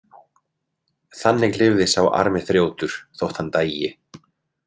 Þannig lifði sá armi þrjótur þótt hann dæi.